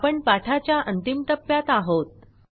आपण पाठाच्या अंतिम टप्प्यात आहोत